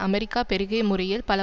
America பெருகிய முறையில் பல